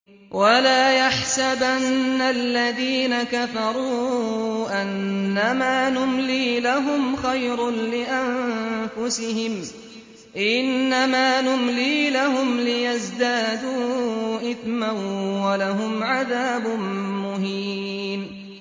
وَلَا يَحْسَبَنَّ الَّذِينَ كَفَرُوا أَنَّمَا نُمْلِي لَهُمْ خَيْرٌ لِّأَنفُسِهِمْ ۚ إِنَّمَا نُمْلِي لَهُمْ لِيَزْدَادُوا إِثْمًا ۚ وَلَهُمْ عَذَابٌ مُّهِينٌ